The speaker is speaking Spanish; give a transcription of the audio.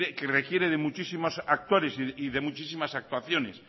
que requiere de muchísimos actores y de muchísimas actuaciones